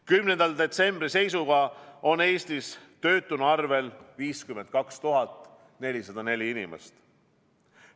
10. detsembri seisuga on Eestis töötuna arvel 52 404 inimest.